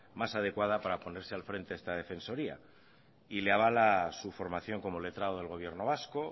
más adecuada para ponerse al frente de esta defensoría y le avala su formación como letrado del gobierno vasco